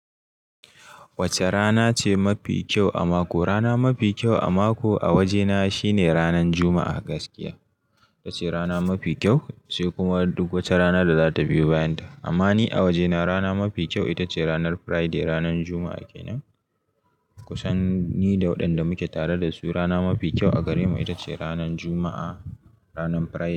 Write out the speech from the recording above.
Wacce rana ce mafi kyau a mako? Rana mafi kyau a mako a wajena shine ranan Juma'a gaskiya. Itace rana mafi kyau sai kuma duk wacce rana da zata biyo bayan ta. Amma ni a wajena rana mafi kyau itace ranan Friday, ranan Juma'a kenan. Kusan ni da wadanda muke tare da su rana mafi kyau a gare mu itace ranan Juma'a, ranan Friday.